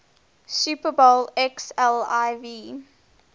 super bowl xliv